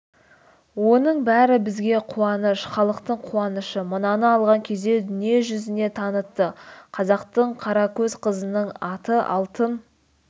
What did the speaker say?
оның бәрі бізге қуаныш халықтың қуанышы мынаны алған кезде дүниежүзіне танытты қазақтың қаракөз қызының аты алтын